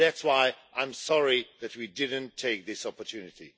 That's why I am sorry that we didn't take this opportunity.